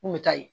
N kun bɛ taa ye